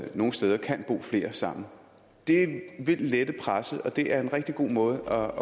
nogle steder kan bo flere sammen det vil lette presset og det er en rigtig god måde